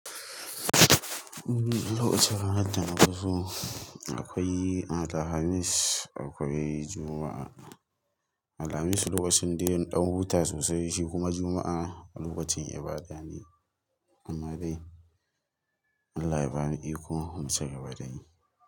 Lokacin ranar dana fi so akwai Alhamis, akwai Juma'a. Alhamis lokacin dai in ɗan huta sosai shi kuma Juma'a lokacin ibada ne. Amma dai Allah ya bani iko in ci kagaba da yi.